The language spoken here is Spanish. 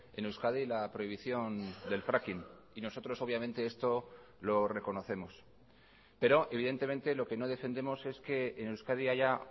en euskadi la prohibición del fracking y nosotros obviamente esto lo reconocemos pero evidentemente lo que no defendemos es que en euskadi haya